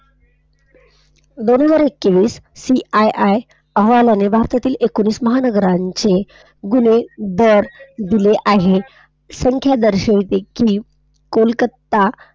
दोन हजार एकवीस CII अहवालाने भारतातील एकोणीस महानगराचे गुन्हे दर दिले आहेत. संख्यादर्शी देखील कोलकत्ता